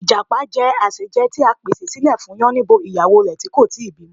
Ìjàpá je àsèjẹ ti a pèsè silẹ̀ fún Yánníbo ìyàwó rẹ̀ ti kò ti bí ọmọ